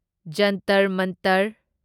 Jantar ꯃꯥꯟꯇꯔ